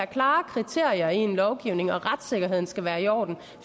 klare kriterier i en lovgivning og at retssikkerheden skal være i orden